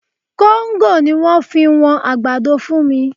Kóńgò ni wọ́n fi wọn àgbàdo fún mi